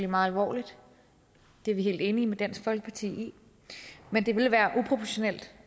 meget alvorligt det er vi helt enige med dansk folkeparti i men det ville være uproportionalt